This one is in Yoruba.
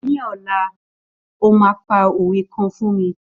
Ní ọ̀la, o máa pa òwe kan fún mi.